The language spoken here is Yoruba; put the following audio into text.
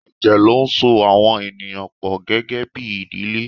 Ẹ̀jẹ̀ ló ń so àwọn ènìyàn pọ gẹ́gẹ́bí ìdílé.